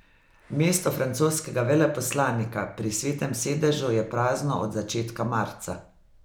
Mesto francoskega veleposlanika pri Svetem sedežu je prazno od začetka marca.